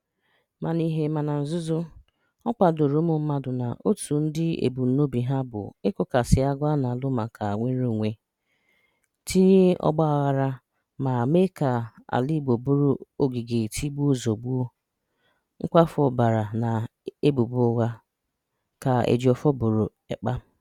Mà n’ìhè mà na nzùzò, ọ̀ kwàdòrò ụmụ̀ mmadụ na òtù ndị̀ ebùmnòbì hà bụ ị̀kụ̀sàsì àgụ̀ a na-alù̀ maka nnwèrèonwè, tìnyè ọ̀gbààghàrà mà méè ka àlà́ Igbo bụrụ́ ògìgè tìgbùo zọ̀gbùo, nkwàfù ọ̀bàrà na èbùbò ụ̀ghà,” ka Éjìofòr bòrò Ekpà.